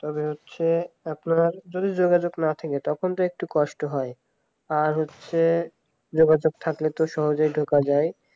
তবে হচ্ছে আপনার যদি যোগাযোগ না থাকলে তখন তো একটু কষ্ট হয় আর হচ্ছে যোগাযোগ থাকলে তো সহজেই ঢোকা যায়